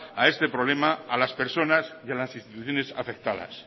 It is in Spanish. a este problema a las personas y a las instituciones afectadas